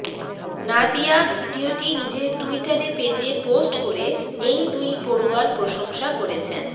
নাদিয়া ভিডিওটি নিজের ট্যুইটারে পেজে পোস্ট করে এই দুই পড়ুয়ার প্রশংসা করেছেন